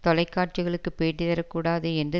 தொலைக்காட்சிகளுக்கு பேட்டி தர கூடாது என்று